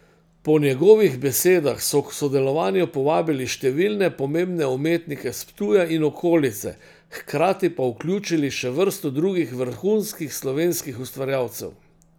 Po njegovih besedah so k sodelovanju povabili številne pomembne umetnike s Ptuja in okolice, hkrati pa vključili še vrsto drugih vrhunskih slovenskih ustvarjalcev.